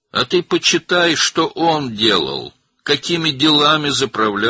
Sən isə oxu gör o nə edirdi, hansı işlərə rəhbərlik edirdi.